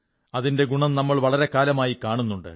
അതിന്റെ ഗുണം നമ്മൾ വളരെ കാലമായി കാണുന്നുണ്ട്